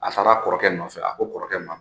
A taara a kɔrɔkɛ nɔfɛ ,a ko kɔrɔkɛ ma